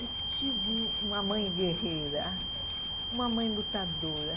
Eu tive uma mãe guerreira, uma mãe lutadora.